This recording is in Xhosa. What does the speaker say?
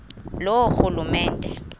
loorhulumente